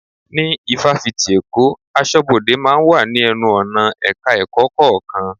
Ní Ifáfìti èkó, aṣọ́bodè máa ń wà ní ẹnu-ọ̀nà Ẹ̀ka-ẹ̀kọ́ kọ̀ọ̀kan.